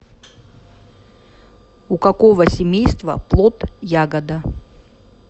у какого семейства плод ягода